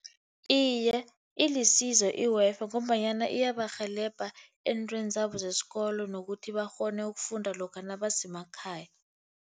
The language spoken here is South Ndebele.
Iye, ilisizo i-Wi-Fi ngombanyana iyabarhelebha eentweni zabo zesikolo, nokuthi bakghone ukufunda lokha nabasemakhaya.